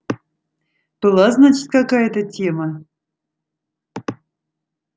была значит какая-то тема